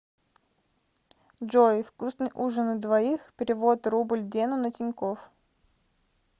джой вкусный ужин на двоих перевод рубль дену на тинькофф